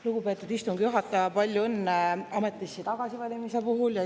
Lugupeetud istungi juhataja, palju õnne ametisse tagasivalimise puhul!